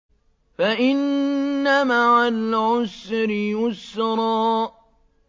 فَإِنَّ مَعَ الْعُسْرِ يُسْرًا